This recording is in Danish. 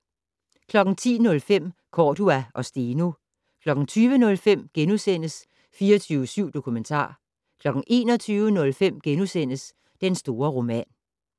10:05: Cordua og Steno 20:05: 24syv Dokumentar * 21:05: Den store roman *